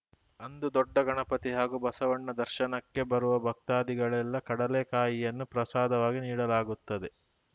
ಅಂದು ದೊಡ್ಡಗಣಪತಿ ಹಾಗೂ ಬಸವಣ್ಣ ದರ್ಶನಕ್ಕೆ ಬರುವ ಭಕ್ತಾದಿಗಳಿಗೆಲ್ಲ ಕಡಲೆಕಾಯಿಯನ್ನು ಪ್ರಸಾದವಾಗಿ ನೀಡಲಾಗುತ್ತದೆ